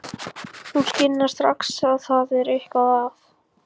Hún skynjar strax að það er eitthvað að.